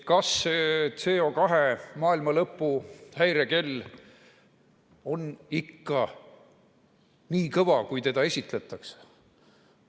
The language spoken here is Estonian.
Kas see CO2 maailmalõpu häirekell on ikka nii kõva, kui seda esitletakse?